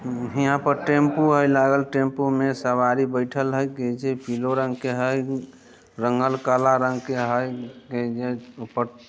हीया पर टेंपू हेय लागल टेंपू में सवारी बैठल हेय की जे पिलो रंग के हेय रंगल काला रंग के हेय एजा ऊपर --